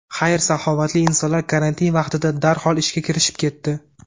Xayr-saxovatli insonlar karantin vaqtida darhol ishga kirishib ketdi.